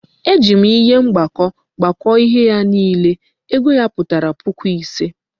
E ji m ihe mgbakọ gbakọọ ihe niile, ego ya pụtara puku ise